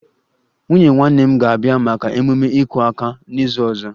Nwunye nwanne m nwanyị ga-abịa maka ememe 'iku aka' n'izu ọzọ